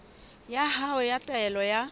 ya hao ya taelo ya